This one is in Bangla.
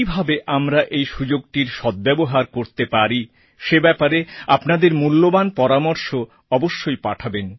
কীভাবে আমরা এই সুযোগটির সদ্ব্যবহার করতে পারি সে ব্যাপারে আপনাদের মূল্যবান পরামর্শ অবশ্যই পাঠাবেন